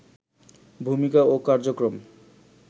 ভূমিকা ও কার্যক্রম